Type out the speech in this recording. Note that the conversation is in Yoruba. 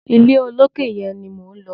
Ilé olókè yẹn ni mò ń lọ.